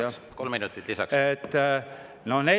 Jaa, palun kolm minutit.